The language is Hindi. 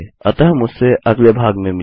अतः मुझसे अगले भाग में मिलये